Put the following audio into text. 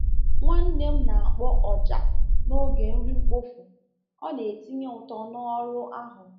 Nwanne m na-akpọ ọja n’oge nri mkpofu—ọ na-etinye uto n’ọrụ ahụ.